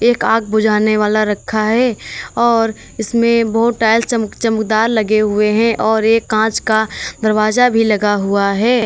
एक आग बुझाने वाला रखा है और इसमें बहोत टाइल्स चमक चमकदार लगें हुए हैं और एक कांच का दरवाजा भी लगा हुआ है।